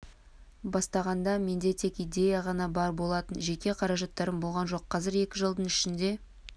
бастағанда менде тек идея ғана бар болатын жеке қаражаттарым болған жоқ қазір екі жылдың ішінде